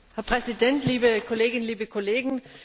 Herr Präsident, liebe Kolleginnen, liebe Kollegen!